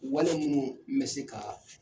Wale ninnu me se ka